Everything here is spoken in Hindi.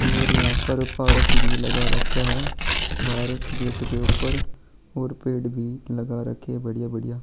और यहाँ पर पारक भी लगा रखे है भारत गेट के ऊपर और गेट भी लगा रखे है बढ़िया-बढ़िया--